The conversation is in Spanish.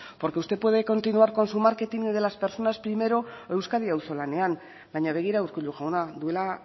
porque usted puede continuar con su marketing de las personas primero o euskadi auzolanean baina begira urkullu jauna duela